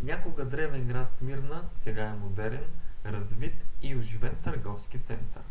някога древен град смирна сега е модерен развит и оживен търговски център